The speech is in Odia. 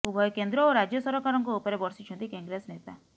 ଉଭୟ କେନ୍ଦ୍ର ଓ ରାଜ୍ୟ ସରକାରଙ୍କ ଉପରେ ବର୍ଷିଛନ୍ତି କଂଗ୍ରେସ ନେତା